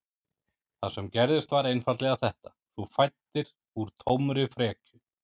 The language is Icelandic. Það sem gerðist var einfaldlega þetta: Þú fæddir úr tómri frekju.